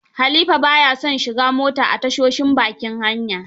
Halifa ba ya son shiga mota a tashoshin bakin hanya.